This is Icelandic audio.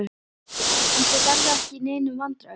Já, en þið verðið ekki í neinum vandræðum.